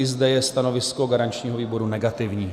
I zde je stanovisko garančního výboru negativní.